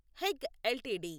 Hague LTD